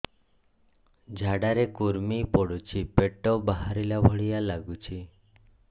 ଝାଡା ରେ କୁର୍ମି ପଡୁଛି ପେଟ ବାହାରିଲା ଭଳିଆ ଲାଗୁଚି